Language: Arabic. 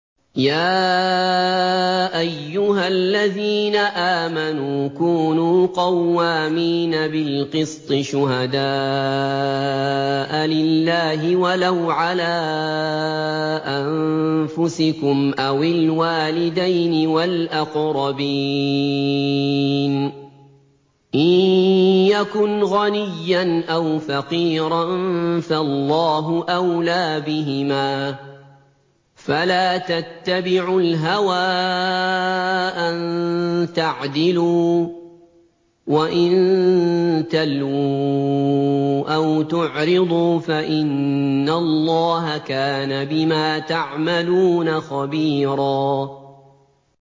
۞ يَا أَيُّهَا الَّذِينَ آمَنُوا كُونُوا قَوَّامِينَ بِالْقِسْطِ شُهَدَاءَ لِلَّهِ وَلَوْ عَلَىٰ أَنفُسِكُمْ أَوِ الْوَالِدَيْنِ وَالْأَقْرَبِينَ ۚ إِن يَكُنْ غَنِيًّا أَوْ فَقِيرًا فَاللَّهُ أَوْلَىٰ بِهِمَا ۖ فَلَا تَتَّبِعُوا الْهَوَىٰ أَن تَعْدِلُوا ۚ وَإِن تَلْوُوا أَوْ تُعْرِضُوا فَإِنَّ اللَّهَ كَانَ بِمَا تَعْمَلُونَ خَبِيرًا